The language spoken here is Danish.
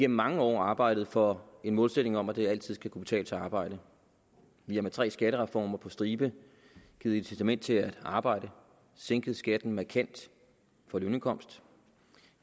mange år arbejdet for en målsætning om at det altid skal kunne betale sig at arbejde vi har med tre skattereformer på stribe givet incitament til at arbejde for vi sænket skatten markant for lønindkomst